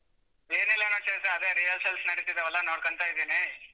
ಬೇರೆ ಏನಿಲ್ಲಾ ಚೈತ್ರ ಅದೇ rehearsals ನಡೀತಿದ್ದವಲ್ಲ ನೋಡ್ಕೊಂತ ಇದ್ದೀನಿ.